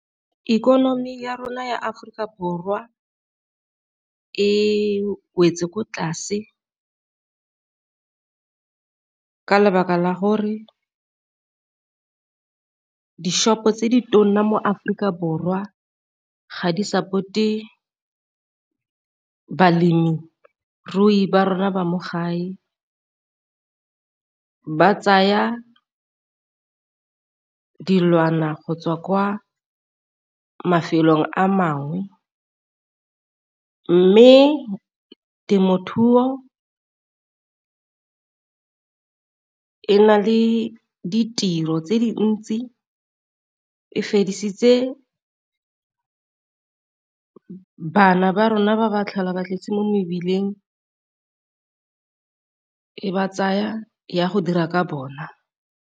Ikonomi ya rona ya Aforika Borwa e wetse ko tlase ka lebaka la gore di-shop tse di tona mo Aforika borwa ga di-support-e balemirui ba rona ba mo gae, ba tsaya dilwana go tswa kwa mafelong a mangwe. Mme temothuo e na le ditiro tse dintsi e feditse bana ba rona ba ba tlhola ba tletse mo mebileng e ba tsaya ya go dira ka bona.